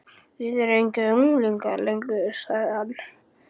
Þið eruð engir unglingar lengur sagði hann.